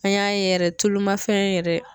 An y'a ye yɛrɛ tulu ma fɛn yɛrɛ